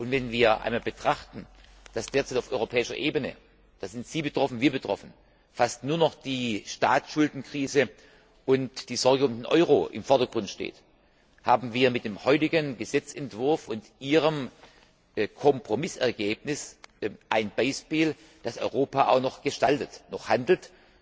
Tag. Wenn wir einmal betrachten, dass derzeit auf europäischer Ebene da sind Sie und wir betroffen fast nur noch die Staatsschuldenkrise und die Sorge um den Euro im Vordergrund stehen, haben wir mit dem heutigen Gesetzentwurf und Ihrem Kompromissergebnis ein Beispiel, dass Europa auch noch gestaltet, noch handelt.